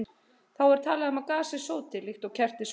Þá er talað um að gasið sóti, líkt og þegar kerti sótar.